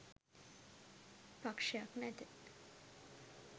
පක්‍ෂයක් නැත